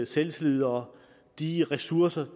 selvtillid og de ressourcer